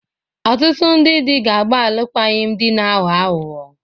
Ọtụtụ ndị di ga-agba alụkwaghịm di na-aghọ aghụghọ